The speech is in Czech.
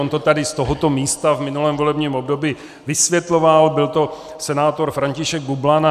On to tady z tohoto místa v minulém volebním období vysvětloval, byl to senátor František Bublan.